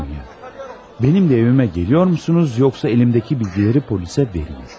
Mənimlə evimə gəlirsiniz yoxsa əlimdəki bilgiləri polisə verim?